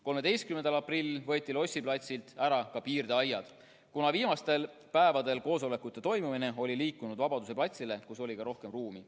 13. aprillil võeti Lossi platsilt ära ka piirdeaiad, kuna viimastel päevadel olid koosolekud liikunud Vabaduse platsile, kus oli ka rohkem ruumi.